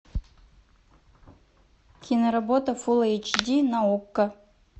киноработа фул эйч ди на окко